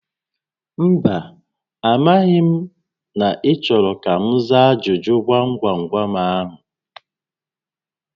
Mba, a maghị m na ị chọrọ ka m za ajụjụ gwam gwam gwam ahụ